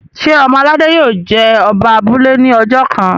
ṣe ọmọ aládé yio jé Oba abúlé ní ojó kán?